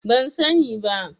Ban sani ba.